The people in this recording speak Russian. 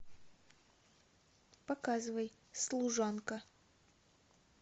показывай служанка